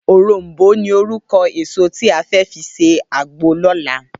Órónbó ni órúkò ésó ti á fè fi sé àgbó lòlá